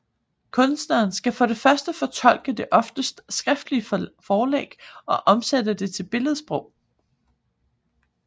Kunstneren skal for det første fortolke det oftest skriftlige forlæg og omsætte det til billedsprog